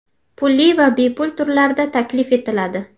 Pulli va bepul turlarda taklif etiladi.